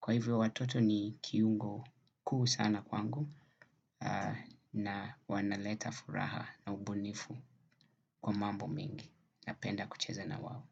Kwa hivyo watoto ni kiungo kuu sana kwangu na wanaleta furaha na ubunifu kwa mambo mengi napenda kucheza na wao.